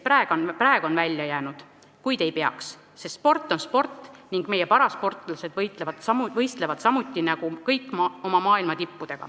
Nad on praegu välja jäänud, kuigi ei peaks, sest sport on sport ning meie parasportlased võistlevad samuti maailmatippudega nagu teised.